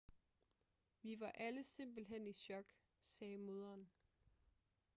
vi var alle simpelthen i chok sagde moderen